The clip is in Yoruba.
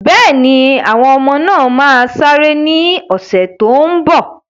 Bẹ́ẹ̀ni, àwọn ọmọ náà máa sáré ní ọ̀sẹ̀ tó n bọ̀